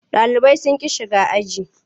Ɗalibai sun ƙi shiga aji.